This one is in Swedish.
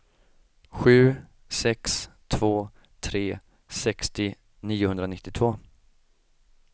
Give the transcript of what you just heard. sju sex två tre sextio niohundranittiotvå